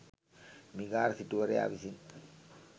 මිගාර සිටුවරයා විසින්